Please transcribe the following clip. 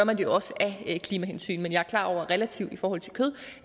man det jo også af klimahensyn men jeg er klar over at relativt i forhold til kød